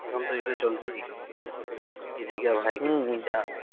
এখুন তো এটা চলছেই, kisi ka brother kisi ki jaan হম